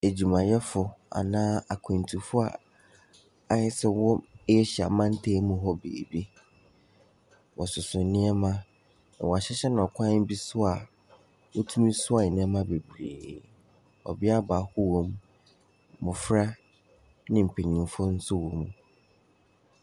Adwumayɛfoɔ anaa akwantufoɔ a ayɛ sɛ wɔwɔ Asia mantam mu hɔ baabi. Wɔsoso nneɛma, na wɔahyehyɛ no kwan bi so a, wotumi soa nneɛma bebree. Ɔbea baako wɔ mu. Mmɔfra ne mpanimfoɔ nso wɔ mu.